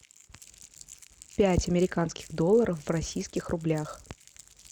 пять американских долларов в российских рублях